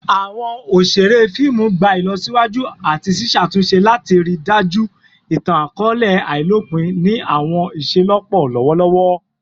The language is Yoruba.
Awọn oṣere fiimu gba ilọsiwaju ati ṣiṣatunṣe lati rii daju itan-akọọlẹ ailopin ni awọn iṣelọpọ lọwọlọwọ